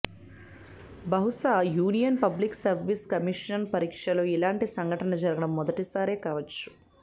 బహుశా union public service commission పరీక్షలో ఇలాంటి సంఘటన జరగడం మొదటిసారేకావచ్చు